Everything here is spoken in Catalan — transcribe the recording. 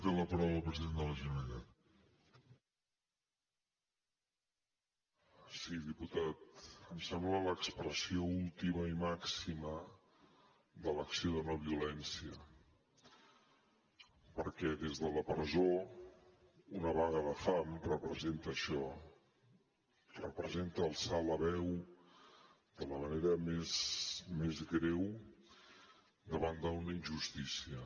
sí diputat em sembla l’expressió última i màxima de l’acció de no violència perquè des de la presó una vaga de fam representa això representa alçar la veu de la manera més greu davant d’una injustícia